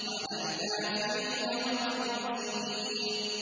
عَلَى الْكَافِرِينَ غَيْرُ يَسِيرٍ